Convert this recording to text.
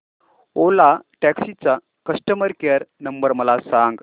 ओला taxi चा customer care number मला सांग